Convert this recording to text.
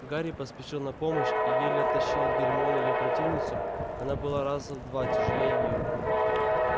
гарри поспешил на помощь и еле оттащил от гермионы её противницу она была раза в два тяжелее её